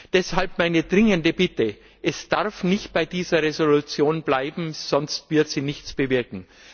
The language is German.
Deshalb meine dringende Bitte Es darf nicht bei dieser Entschließung bleiben, sonst wird sie nichts bewirken.